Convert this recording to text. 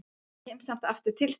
Ég kem samt aftur til þín.